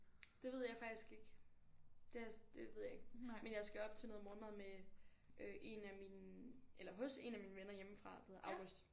Det ved jeg faktisk ikke det har jeg det ved jeg ikke men jeg skal op til noget morgenmad med øh en af mine eller hos en af mine venner hjemmefra der hedder August